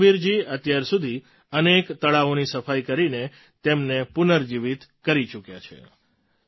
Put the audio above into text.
રામવીરજી અત્યાર સુધી અનેક તળાવોની સફાઈ કરીને તેમને પુનર્જીવિત કરી ચૂક્યા છે